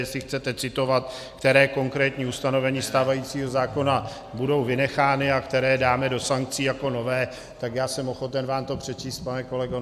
Jestli chcete citovat, která konkrétní ustanovení stávajícího zákona budou vynechána a která dáme do sankcí jako nové, tak já jsem ochoten vám to přečíst, pane kolego ...